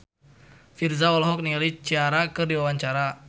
Virzha olohok ningali Ciara keur diwawancara